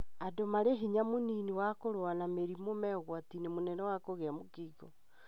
Andũ marĩ hinya mũnini wa kũrũa na mĩrimũ me ũgwatine mũnene wa kũgĩa mũkingo.